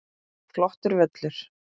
Flottur völlur.